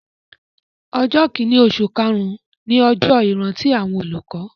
Ọjọ́ kìíní oṣù karùn-ún ni ọjọ́ ìrántí àwọn olùkọ́